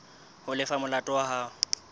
ho lefa molato wa hao